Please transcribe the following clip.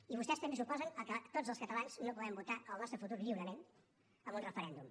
i vostès també s’oposen que tots els catalans no puguem votar el nostre futur lliurement amb un referèndum